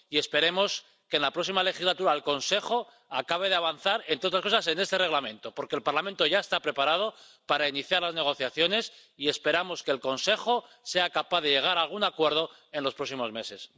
Y esperemos que en la próxima legislatura el Consejo acabe de avanzar, entre otras cosas en este Reglamento, porque el Parlamento ya está preparado para iniciar las negociaciones y esperamos que el Consejo sea capaz de llegar a algún acuerdo en los próximos meses.